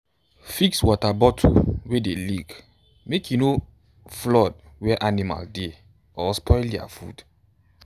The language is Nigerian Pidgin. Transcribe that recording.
fix water bottle wey dey leak make e no flood where animal dey or spoil their food.